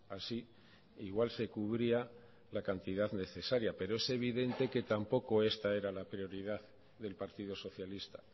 así igual se cubría la cantidad necesaria pero es evidente que tampoco esta era la prioridad del partido socialista